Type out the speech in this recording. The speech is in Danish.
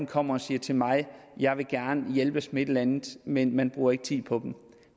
kommer og siger til mig jeg vil gerne hjælpes med et eller andet men man bruger ikke tid på dem